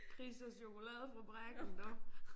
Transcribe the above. Chris og Chokoladefabrikken du